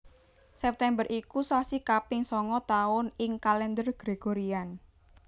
September iku sasi kaping sanga taun ing Kalendher Gregorian